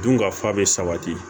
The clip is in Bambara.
Dun ka fa be sabati